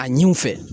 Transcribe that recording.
A ɲi u fɛ